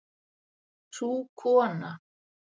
Sú kona